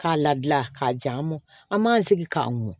K'a ladilan k'a ja mɔ an m'an sigi k'a mun